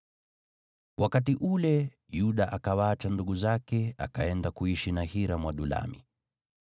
Wakati ule, Yuda akawaacha ndugu zake, akaenda kuishi na Hira Mwadulami.